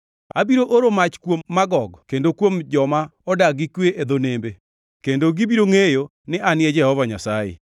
Abiro oro mach kuom Magog kendo kuom joma odak gi kwe e dho nembe, kendo gibiro ngʼeyo ni An e Jehova Nyasaye.